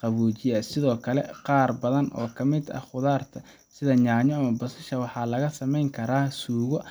qaboojiye ah. Sidoo kale, qaar badan oo ka mid ah khudaarta sida yaanyo iyo basbaaska waxaa laga samayn karaa suugo.